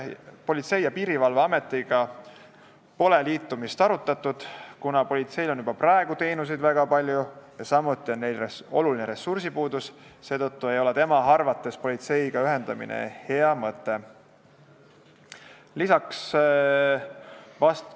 Politsei- ja Piirivalveametiga pole liitumist arutatud, kuna politseil on juba praegu teenuseid väga palju ja samuti on neil oluline ressursipuudus, seetõttu ei ole politseiga ühendamine tema arvates hea mõte.